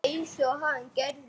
Einsog hann gerði.